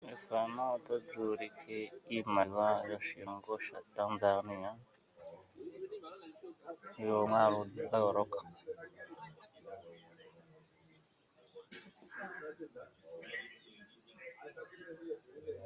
Ethano otalyuulike iimaliwa yoshilongo shaTanzania yomwaalu dhayooloka.